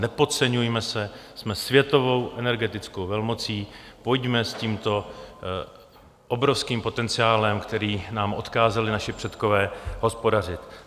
Nepodceňujme se, jsme světovou energetickou velmocí, pojďme s tímto obrovským potenciálem, který nám odkázali naši předkové, hospodařit.